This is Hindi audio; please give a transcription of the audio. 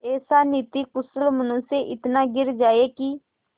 ऐसा नीतिकुशल मनुष्य इतना गिर जाए कि